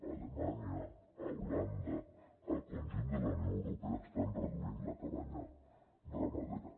a alemanya a holanda al conjunt de la unió europea estan reduint la cabanya ramadera